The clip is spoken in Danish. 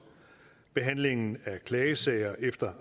behandlingen af klagesager efter